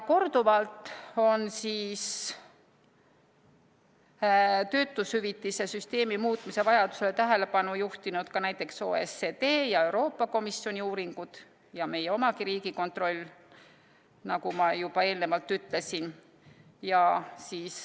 Korduvalt on töötushüvitise süsteemi muutmise vajadusele tähelepanu juhtinud ka näiteks OECD ja Euroopa Komisjoni uuringud ning meie oma Riigikontroll, nagu ma juba eelnevalt ütlesin.